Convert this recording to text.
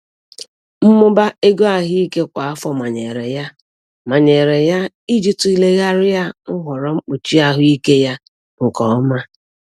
Mmụba ego ahụike kwa afọ manyere ya manyere ya i ji tulegharịa nhọrọ mkpuchi ahụike ya nke ọma.